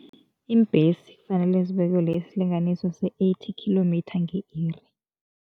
Iimbhesi kufanele zibekelwe isilinganiso se-eighty kilometre nge-iri.